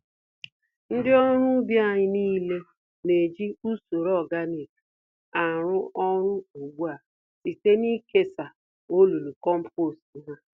Ndị ọrụ ubi anyị nile na-eji usoro ọganik arụzi ọrụ ùgbúà, site nikesa olulu kompost há